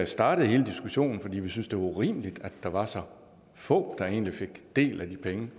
startede hele diskussionen fordi vi synes det urimeligt at der var så få der egentlig fik del af de penge